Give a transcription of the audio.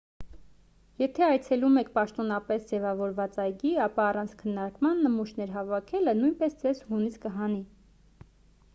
եթե այցելում եք պաշտոնապես ձևավորված այգի ապա առանց քննարկման նմուշներ հավաքելը նույնպես ձեզ հունից կհանի